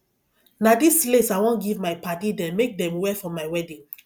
na dis lace i wan give my padddy dem make dem wear for my wedding